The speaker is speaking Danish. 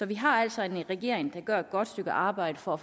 vi har altså en regering der gør et godt stykke arbejde for at